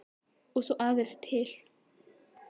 Og svo aðra til.